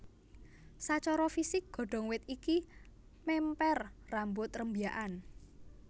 Sacara fisik godhong wit iki mèmper rambut rembyakan